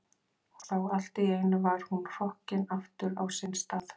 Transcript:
Og þá allt í einu var hún hrokkin aftur á sinn stað.